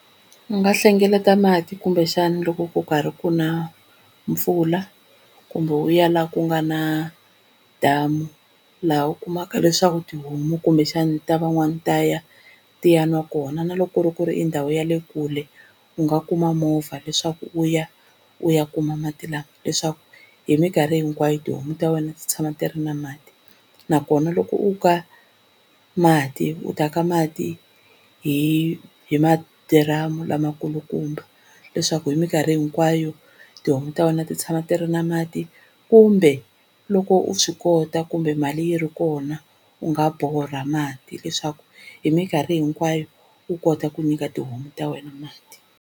U nga hlengeleta mati kumbexana loko ku karhi ku na mpfula kumbe u ya laha ku nga na damu laha u kumaka leswaku tihomu kumbexani ta van'wani ta ya ti ya nwa kona. Na loko ku ri ku ri i ndhawu ya le kule u nga kuma movha leswaku u ya u ya kuma mati lawa leswaku hi mikarhi hinkwayo tihomu ta wena ti tshama ti ri na mati, nakona loko u ka mati u ta ka mati hi hi madiramu lamakulukumba leswaku hi minkarhi hinkwayo tihomu ta wena ti tshama ti ri na mati. Kumbe loko u swi kota kumbe mali yi ri kona u nga borha mati leswaku hi minkarhi hinkwayo u kota ku nyika tihomu ta wena mati.